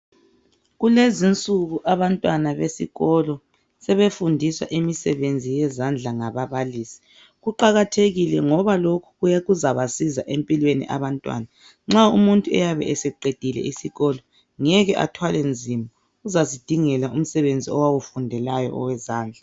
Kulezi'nsuku abantwana besikolo sebefundiswa imisebenzi yezandla ngababalisi kuqakathekile ngoba lokhu kuzabasiza empilweni abantwana, nxa umuntu eyabe eseqedile isikolo ngeke athwale nzima ozazindingela umsebenzi owawufundelayo owezandla